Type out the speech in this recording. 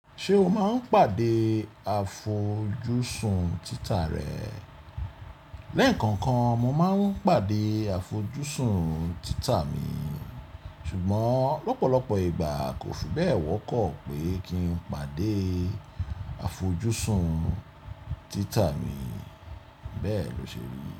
Ṣé o máa ń pàdé àfojúsùn títà rẹ? Lẹ́ẹ̀kan kan mo máa ń pàdé àfojúsùn títà mi, ṣùgbọ́n lọ́pọ̀lọpọ̀ ìgbà kò fún bẹ́ẹ̀ wọ́pọ̀ pé kí n pàdé àfojúsùn títà mi, bẹ́ẹ̀ lo ṣe rí.